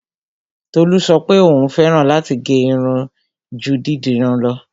Tolú sọ pé òún fẹ́ràn láti gẹ́ irun ju dídirun lọ.